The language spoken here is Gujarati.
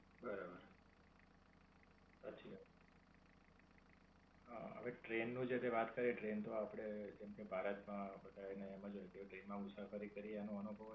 બરાબર. સાચી વાત. અમ હવે ટ્રેન નું જયારે વાત કરીયે ટ્રેન તો આપડે કેમકે ભારત માં આ બધા ને એમ જ હોય કે ટ્રેન માં મુસાફરી કરીયે એનો અનુભવ.